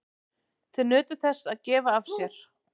Þau nutu þess að gefa af sér.